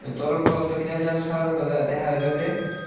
তরল পদার্থ কি জানি না ওই যে সাদা সাদা দে-দেখা যাইতাছে।